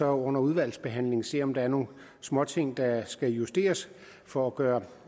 under udvalgsbehandlingen se om der er nogle småting der skal justeres for at gøre